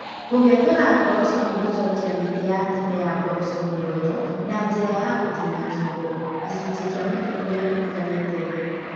Kũgethũra ngoroco nĩ gũcokia mĩtĩ ya tene ya ngoroco muoyo na njĩra ya gũtinia kĩongo (kĩcunjĩ kĩa mũtĩ ũrĩa ũtigarĩte thĩ)